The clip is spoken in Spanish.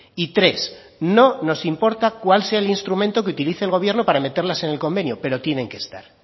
y tres no nos importa cuál sea el instrumento que utilice el gobierno para meterlas en el convenio pero tienen que estar